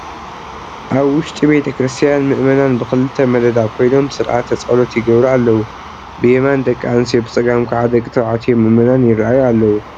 ኣብ ውሽጢ ቤተ ክርስቲያን ምእመናን ብኽልተ መደዳ ኮይኖም ስርዓተ ፀሎት ይገብሩ ኣለዉ፡፡ ብየማን ደቂ ኣንስትዮ ብፀጋም ከዓ ደቂ ተባዕትዮ ምእመናን ይርአዩ ኣለዉ፡፡